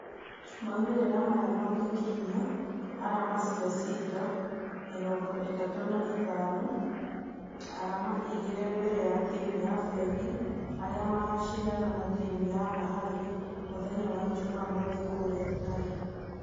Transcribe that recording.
Maumerera maya magĩkinyia arama cia cider mĩrongo ĩtatũ na ithano arama igĩrĩ mbere ya timũ ya fengi arĩa magashidana na timu ya bahari mũthenya wa jumamothi kũria utalii.